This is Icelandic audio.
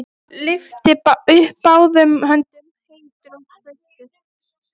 Lyfti upp báðum höndum, heitur og sveittur.